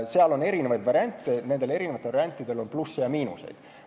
Seal on kõiksugu variante, neist igaühel on plusse ja miinuseid.